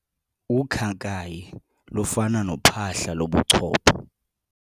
Ukhakayi lufana nophahla lobuchopho.